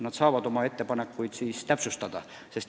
Nad saavad oma ettepanekuid täpsustada.